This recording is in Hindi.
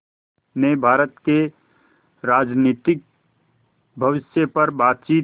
ने भारत के राजनीतिक भविष्य पर बातचीत